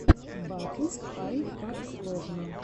батл айкаксложно